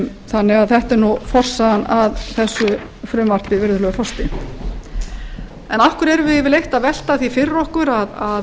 þannig að þetta er forsagan að þessu frumvarpi virðulegur forseti af hverju erum við yfirleitt að velta því fyrir okkur að